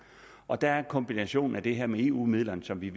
og der er der en kombination med det her med eu midlerne som vi